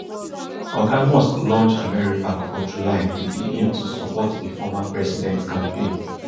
oga musk launch americapac for july wit di aim to support di former president campaign